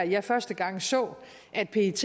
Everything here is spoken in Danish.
jeg første gang så at pet